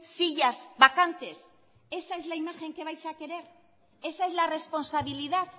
sillas vacantes esa es la imagen que vais a querer esa es la responsabilidad